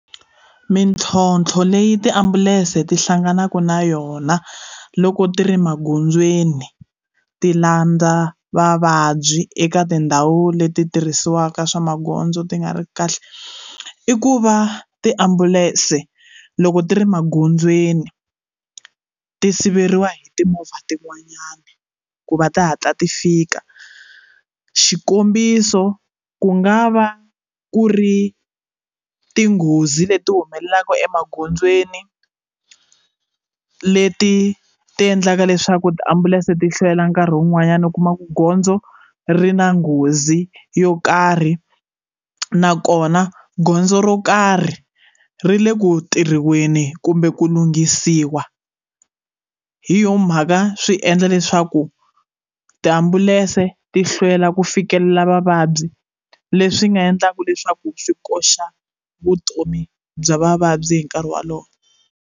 Mitlhontlho leyi tiambulense ti hlanganaka na yona loko ti ri magondzweni ti landza vavabyi eka tindhawu leti tirhisiwaka swa magondzo ti nga ri kahle i ku va tiambulense loko ti ri magondzweni ti siveriwa hi timovha tin'wanyana ku va ti hatla ti fika xikombiso ku nga va ku ri tinghozi leti humelelaka emagondzweni leti ti endlaka leswaku tiambulense ti hlwela nkarhi wun'wanyana u kuma ku gondzo ri na nghozi yo karhi nakona gondzo ro karhi ri le ku tirhiweni kumbe ku lunghisiwa hi yo mhaka swi endla leswaku tiambulense ti hlwela ku fikelela vavabyi leswi nga endlaka leswaku swi koxa vutomi bya vavabyi hi nkarhi walowo.